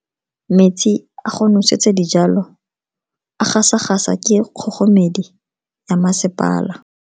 Metsi a go nosetsa dijalo a gasa gasa ke kgogomedi ya masepala.